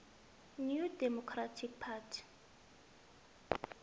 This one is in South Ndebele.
new democratic party